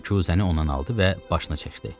Küsəni ondan aldı və başına çəkdi.